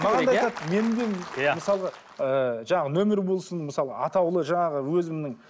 маған да айтады менің де иә мысалға ыыы жаңа нөмір болсын мысалы атаулы жаңағы өзімнің